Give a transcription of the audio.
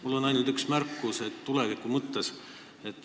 Mul on ainult üks märkus tuleviku mõttes.